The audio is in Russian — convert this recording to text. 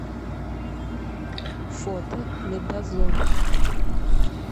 фото медозон